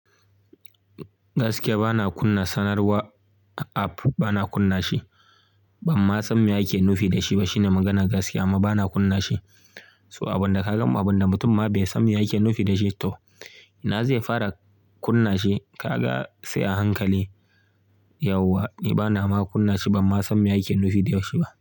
Gaskiya bana kunna sanarwar app, bana kunna shi. Ban ma san me ake nufi da shi ba. Shine maganar gaskiya, amma bana kunna shi. So abin da ka gan, abin da mutum ma bai san me yake nufi da shi to, ina zai fara kunna shi? Ka ga sai a hankali yauwa. Ni bana ma kunna shi ban ma san me ake nufi da shi ba.